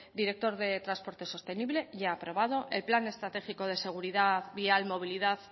director de transporte sostenible ya aprobado el plan estratégico de seguridad vial movilidad